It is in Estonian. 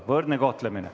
Meil on võrdne kohtlemine.